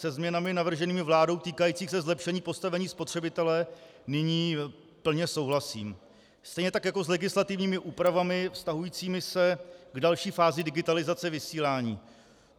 Se změnami navrženými vládou týkajícími se zlepšení postavení spotřebitele nyní plně souhlasím, stejně tak jako s legislativními úpravami vztahujícími se k další fázi digitalizace vysílání.